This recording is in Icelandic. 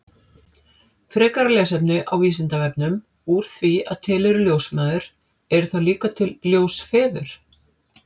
Frekara lesefni á Vísindavefnum Úr því að til eru ljósmæður, eru þá líka til ljósfeður?